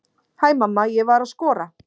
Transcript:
Hæ mamma, ég var að skora!